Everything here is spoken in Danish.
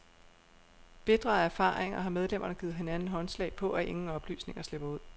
Bitre af erfaringer har medlemmerne givet hinanden håndslag på, at ingen oplysninger slipper ud.